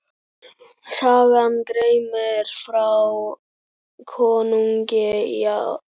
Sagan greinir frá konungi í